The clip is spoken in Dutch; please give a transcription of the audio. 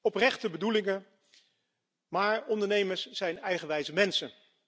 Oprechte bedoelingen, maar ondernemers zijn eigenwijze mensen.